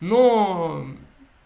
ну